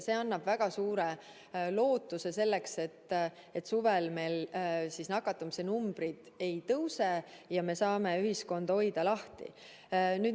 See annab väga suure lootuse selleks, et suvel meil nakatumise numbrid ei tõuse ja me saame ühiskonda lahti hoida.